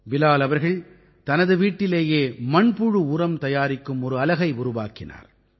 பிலால் அவர்கள் தனது வீட்டிலேயே மண்புழு உரம் தயாரிக்கும் ஒரு அலகை உருவாக்கினார்